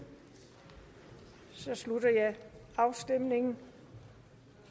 så slutter jeg afstemningen